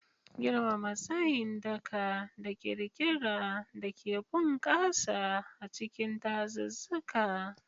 Girmama tsayin daka da ƙirƙira da ke bunƙasa a cikin dazuzzuka.